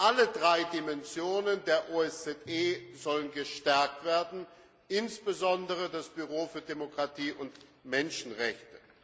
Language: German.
Alle drei Dimensionen der OSZE sollen gestärkt werden, insbesondere das Büro für Demokratie und Menschenrechte.